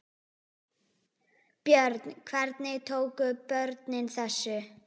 Björn: Hvernig tóku börnin þessu?